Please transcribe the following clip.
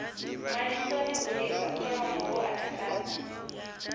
malisoni u lisa kholomo huatakadza